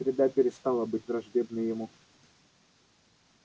среда перестала быть враждебной ему